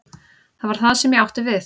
Það var það sem ég átti við.